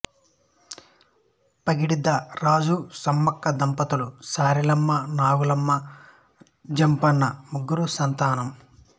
పగిడిద్దరాజు సమ్మక్క దంపతులకు సారలమ్మ నాగులమ్మ జంపన్న ముగ్గురు సంతానం